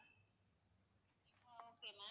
okay ma'am